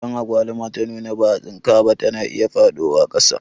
Idan agwaluma ta nuna ba'a tsinka ba, ta na iya faɗowa ƙasa